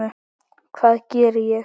Hvað geri ég?